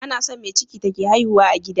Anason me ciki take haihuwa a gida